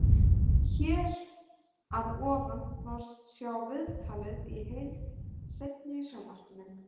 Hér að ofan má sjá viðtalið í heild seinni í sjónvarpinu.